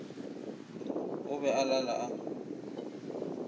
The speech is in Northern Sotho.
o be a lala a